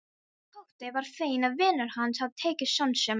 Tóti var feginn að vinur hans hafði tekið sönsum.